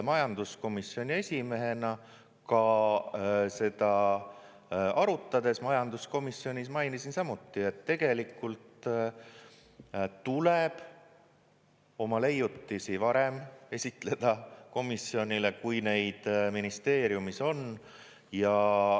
Majanduskomisjoni esimehena ka seda arutades majanduskomisjonis mainisin samuti, et tegelikult tuleb oma leiutisi varem esitleda komisjonile, kui neid ministeeriumis on.